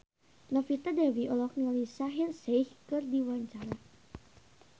Novita Dewi olohok ningali Shaheer Sheikh keur diwawancara